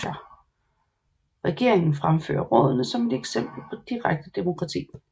Regeringen fremfører rådene som et eksempel på direkte demokrati